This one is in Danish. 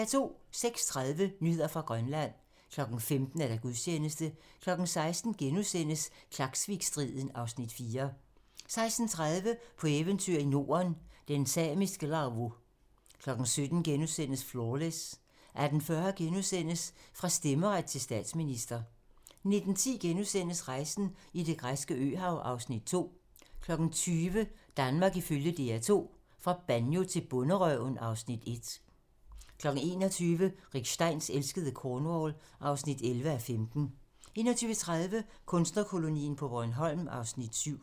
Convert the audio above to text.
06:30: Nyheder fra Grønland 15:00: Gudstjeneste 16:00: Klaksvikstriden (Afs. 4)* 16:30: På eventyr i Norden - den samiske Lavvu 17:00: Flawless * 18:40: Fra stemmeret til statsminister * 19:10: Rejsen i det græske øhav (Afs. 2)* 20:00: Danmark ifølge DR2 - fra Banjo til Bonderøven (Afs. 1) 21:00: Rick Steins elskede Cornwall (11:15) 21:30: Kunstnerkolonien på Bornholm (Afs. 7)